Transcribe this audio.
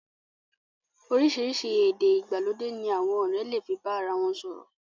Oríṣìíríṣìí èdè ìgbàlódé ní àwọn ọ̀rẹ́ lè fi bá ara wọ̀n sọ̀rọ̀.